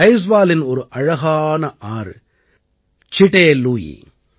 ஐஜ்வாலின் ஒரு அழகான ஆறு சிடே லுயி